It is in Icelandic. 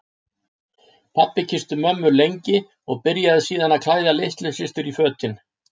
Pabbi kyssti mömmu lengi og byrjaði síðan að klæða litlu systur í fötin.